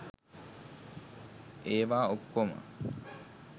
ඒවා ඔක්‌කෝම